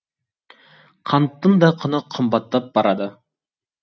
қанттың да құны қымбаттап барады